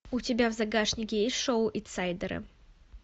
у тебя в загашнике есть шоу инсайдеры